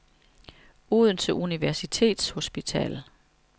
Odense Universitets Hospital